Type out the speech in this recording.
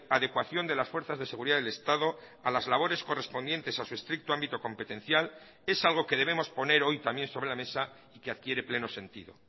adecuación de las fuerzas de seguridad del estado a las labores correspondientes a su estricto ámbito competencial es algo que debemos poner hoy también sobre la mesa y que adquiere pleno sentido